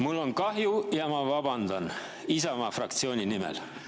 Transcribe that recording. Mul on kahju ja ma vabandan Isamaa fraktsiooni nimel.